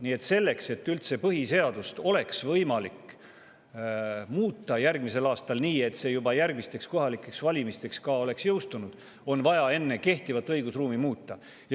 Nii et selleks, et üldse põhiseadust oleks võimalik muuta järgmisel aastal nii, et see juba järgmisteks kohalikeks valimisteks oleks jõustunud, on vaja enne kehtivat õigusruumi muuta.